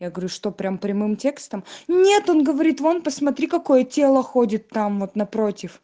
я говорю что прямо прямым текстом нет он говорит вон посмотри какое тело ходит там вот напротив